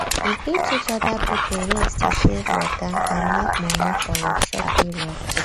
you fit teach oda pipo ways to save water and make money for workshop periods